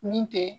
Min tɛ